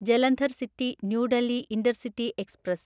Jalandhar city New Delhi intercity express